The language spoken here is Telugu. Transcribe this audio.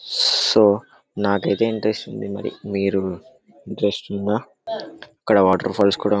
సూ నాకైతే ఇంట్రస్ట్ ఉంది మరి మీరు ఇంట్రెస్ట్ ఉందా ఇక్కడ వాటర్ఫాల్స్ కూడా--